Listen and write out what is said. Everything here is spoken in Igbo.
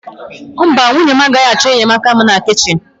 Mba, nwunye m agaghị achọ enyemaka m na kichin.